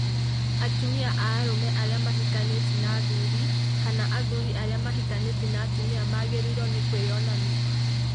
Atumia a arũme arĩa mahikanĩtie na athuri kana athuri arĩa mahikanĩtie na atumia magĩrĩirũo nĩ kwĩyonania